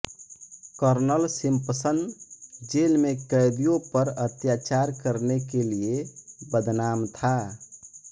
colonel Simpson jail में कैदियों पर अत्याचार करने के लिए बदनाम था